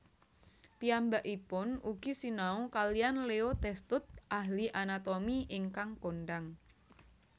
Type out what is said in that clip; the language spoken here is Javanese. Piyambakipun ugi sinau kaliyan Leo Testut ahli anatomi ingkang kondhang